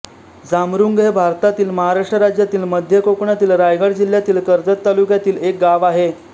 जांमरुंग हे भारतातील महाराष्ट्र राज्यातील मध्य कोकणातील रायगड जिल्ह्यातील कर्जत तालुक्यातील एक गाव आहे